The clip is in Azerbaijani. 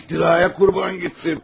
Bir iftiraya qurban getdim.